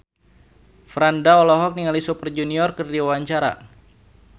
Franda olohok ningali Super Junior keur diwawancara